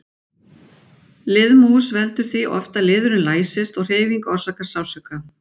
Liðmús veldur því oft að liðurinn læsist og hreyfing orsakar sársauka.